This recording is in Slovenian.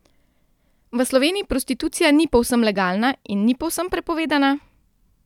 V Sloveniji prostitucija ni povsem legalna in ni povsem prepovedana?